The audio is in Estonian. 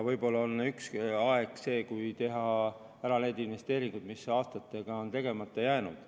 Võib-olla on aeg teha ära need investeeringud, mis aastatega on tegemata jäänud.